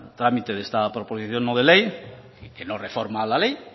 trámite de esta proposición no de ley que no reforma la ley